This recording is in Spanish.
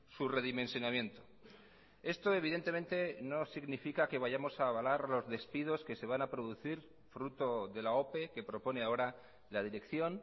su redimensionamiento esto evidentemente no significa que vayamos a avalar los despidos que se van a producir fruto de la ope que propone ahora la dirección